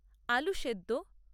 আলু সেদ্দ